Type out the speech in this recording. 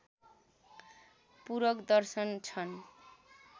पूरक दर्शन छन्